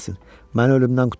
Məni ölümdən qurtar.